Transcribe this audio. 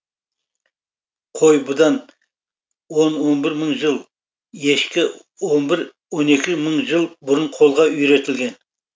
қой бұдан он он бір мың жыл ешкі он бір он екі мың жыл бұрын қолға үйретілген